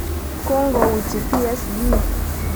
Kongouji PSG.